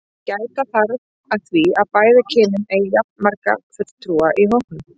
Gæta þarf að því að bæði kynin eigi jafnmarga fulltrúa í hópnum.